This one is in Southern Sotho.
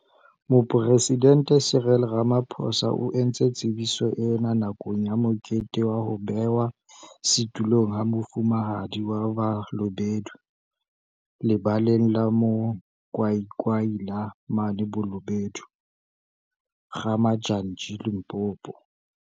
Moporesidente Cyril Ramaphosa o entse tsebiso ena nakong ya mokete wa ho bewa setulong ha Mofumahadi wa Balobedu Lebaleng la Mo kwakwaila mane Bolobedu, Ga-Modjadji, Limpopo.